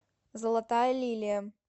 золотая лилия